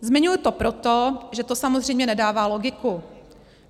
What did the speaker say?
Zmiňuji to proto, že to samozřejmě nedává logiku.